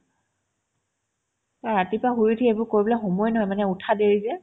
ৰাতিপুৱা শুই উঠি এইবোৰ কৰিবলে সময়ে নাই মানে উঠাত দেৰি যে